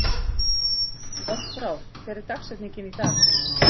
Járnbrá, hver er dagsetningin í dag?